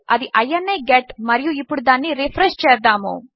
అది ఇని గెట్ మరియు ఇప్పుడు దానిని రిఫ్రెష్ చేద్దాము